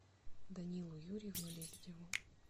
данилу юрьевну лебедеву